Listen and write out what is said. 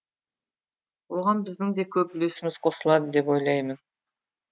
оған біздің де көп үлесіміз қосылады деп ойлаймын